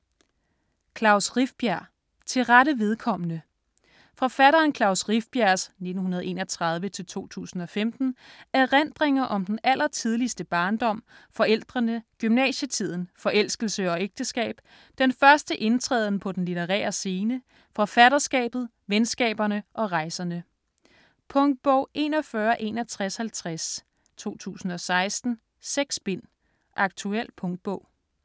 Rifbjerg, Klaus: Til rette vedkommende Forfatteren Klaus Rifbjergs (1931-2015) erindringer om den allertidligste barndom, forældrene, gymnasietiden, forelskelse og ægteskab, den første indtræden på den litterære scene, forfatterskabet, venskaberne og rejserne. Punktbog 416150 2016. 6 bind. Aktuel punktbog.